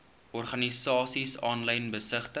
organisasies aanlyn besigtig